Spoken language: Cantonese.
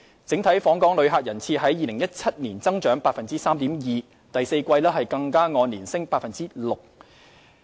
整體訪港旅客人次於2017年增長 3.2%， 第四季更按年升 6%。